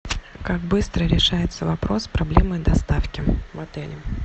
как быстро решается вопрос с проблемой доставки в отеле